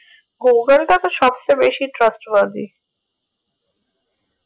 google টা তো সব চেয়ে বেশি trust আদি